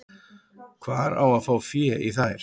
Hvar á að fá fé í þær?